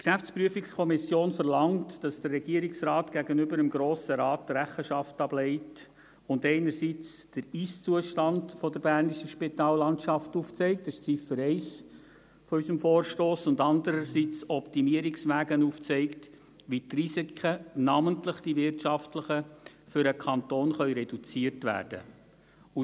Die GPK verlangt, dass der Regierungsrat gegenüber dem Grossen Rat Rechenschaft ablegt und einerseits den Ist-Zustand der bernischen Spitallandschaft aufzeigt – dies ist die Ziffer 1 unseres Vorstosses – und andererseits Optimierungswege aufzeigt, wie die Risiken, namentlich die wirtschaftlichen, für den Kanton reduziert werden können.